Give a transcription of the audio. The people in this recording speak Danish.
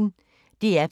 DR P1